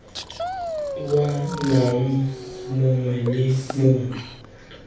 wa naga mongwe le mongwe